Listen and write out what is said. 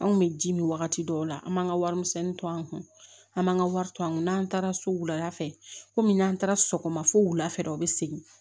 Anw kun bɛ ji min wagati dɔw la an b'an ka warimisɛnnin to an kun an b'an ka wari to an kun n'an taara so wula fɛ komi n'an taara sɔgɔma fo wulafɛ u be segin